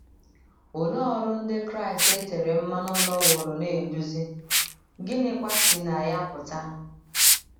Olee ọrụ Ndị Kraịst e tere mmanụ nọworo na - eduzi, gịnịkwa si na ya pụta?